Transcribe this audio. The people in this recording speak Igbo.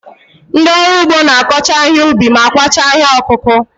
Ndị ọrụ ugbo na-akọcha ihe ubi ma kwachaa ihe ọkụkụ.